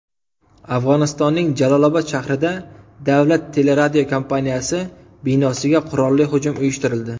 Afg‘onistonning Jalolobod shahrida davlat teleradiokompaniyasi binosiga qurolli hujum uyushtirildi.